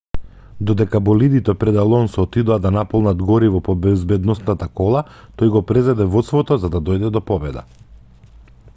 додека болидите пред алонсо отидоа да наполнат гориво по безбедносната кола тој го презеде водството за да дојде до победа